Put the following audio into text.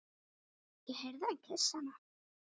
Ég heyrði hann kyssa hana.